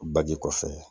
Baji kɔfɛ